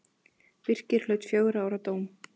Birkir hlaut fjögurra ára dóm.